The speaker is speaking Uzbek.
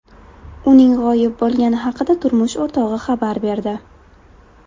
Uning g‘oyib bo‘lgani haqida turmush o‘rtog‘i xabar berdi.